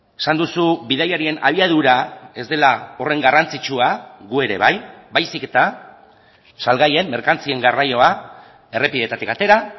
esan duzu bidaiarien abiadura ez dela horren garrantzitsua gu ere bai baizik eta salgaien merkantzien garraioa errepideetatik atera